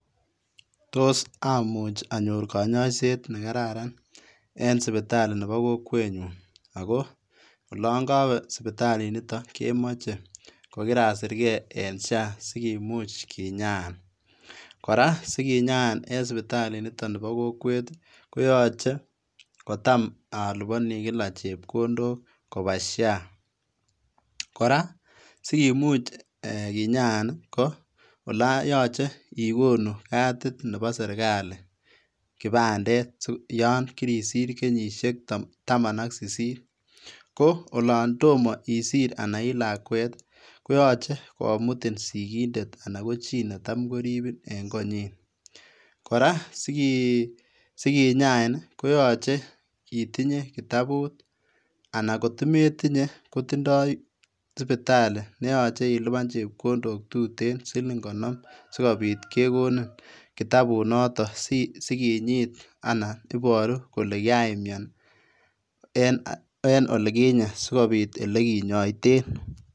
Tos amuch anyor konyoiset nekararan en sipitali nepo kokwenyun ako olon kowee sipitalinito kemoche kokirasirke en SHA sikimuch kinyaan, kora sikinyaan en sipitalit nito nepo kokwet koyoche kotam alipani kila chepkondok kopaa SHA.Kora sikimuch kinyaan ko olo yoche ikonu katit nepo serikal kipandet yon kirisir kenyisiek taman ak sisit koo olon tomo isir anan ilakwet koyache komutin sikindet anan ko chi netam koripin en konyi ,kora sikinyain koyache itinye kitabut anan kotometinye kotindoi sipitali neyoche ilipan chepkondok tuten siling konom sikopit kekonin kitabunoto sikinyit anan iboru kole kiraimian en olikinye sikopit olekinyoeten.